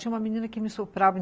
Tinha uma menina que me soprava.